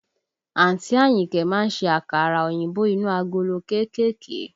Àǹtí Àyìnkẹ́ má ń ṣe àkàrà òyìnbó inú agolo kéékèèké